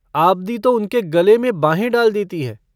आबदी तो उनके गले में बाहें डाले देती है।